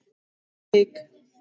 Ekkert hik.